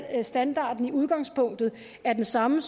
at standarden i udgangspunktet er den samme